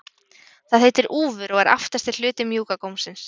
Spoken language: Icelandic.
það heitir úfur og er aftasti hluti mjúka gómsins